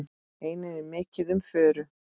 Einnig er mikið um furu.